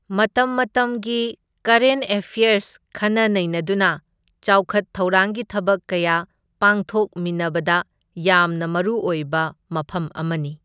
ꯃꯇꯝ ꯃꯇꯝꯒꯤ current affairs ꯈꯟꯅ ꯅꯩꯅꯗꯨꯅ ꯆꯥꯎꯈꯠ ꯊꯧꯔꯥꯡꯒꯤ ꯊꯕꯛ ꯀꯌꯥ ꯄꯥꯡꯊꯣꯛꯃꯤꯟꯅꯕꯗ ꯌꯥꯝꯅ ꯃꯔꯨꯑꯣꯏꯕ ꯃꯐꯝ ꯑꯃꯅꯤ꯫